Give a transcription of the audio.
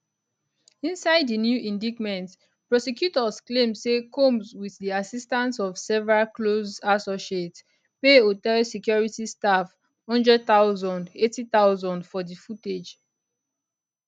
inside di new indictment prosecutors claim say combs wit di assistance of several close associates pay hotel security staff 100000 80000 for di footage